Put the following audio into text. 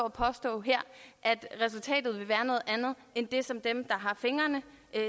og påstå at resultatet vil være noget andet end det som dem der har fingrene